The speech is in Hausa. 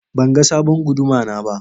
Ban ga sabon Guduma na ba.